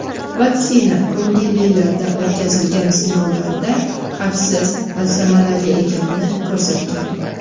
vaksina ko‘ngillilarda o‘tkazilgan sinovlarda xavfsiz va samarali ekanini ko‘rsatgan.